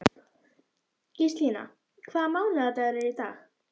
Gíslína, hvaða mánaðardagur er í dag?